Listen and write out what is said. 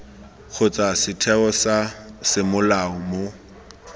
kgotsa setheo sa semolao mo